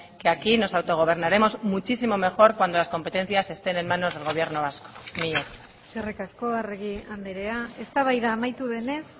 que aquí nos autogobernaremos muchísimo mejor cuando las competencias estén en manos del gobierno vasco mila esker eskerrik asko arregi andrea eztabaida amaitu denez